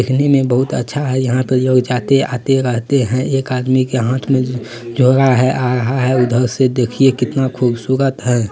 देखने मे बहुत अच्छा है यहां पे लोग जाते-आते रहते है एक आदमी के हाथ मे झो झोला है आ रहा है उधर से देखिए कितना खूबसूरत है।